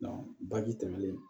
baji tɛmɛlen